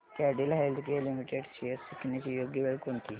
Cadila healthcare limited shares विकण्याची योग्य वेळ कोणती